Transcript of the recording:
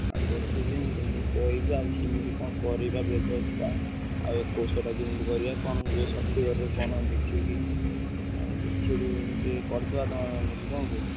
ଆଉ ଦେଖିବି ମୁଁ କହିବି କେମିତି କଣ କରିବ ବ୍ୟବସ୍ତା ଆଉ ଏକୋଇସିଆ ଟା କେମିତି ହୁଏ ସଠିକ ଭାବରେ କଣ ଦେଖିକି ଆଉ କରିଦବା ତମର ମୋର ମିଶିକି କଣ କହୁଛ?